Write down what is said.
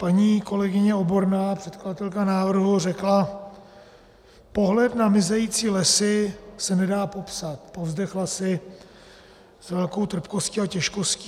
Paní kolegyně Oborná, předkladatelka návrhu, řekla: "Pohled na mizející lesy se nedá popsat," povzdechla si s velkou trpkostí a těžkostí.